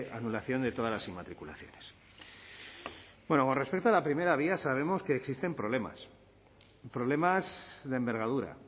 anulación de todas las inmatriculaciones bueno con respecto a la primera vía sabemos que existen problemas problemas de envergadura